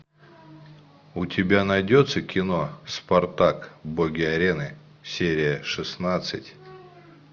у тебя найдется кино спартак боги арены серия шестнадцать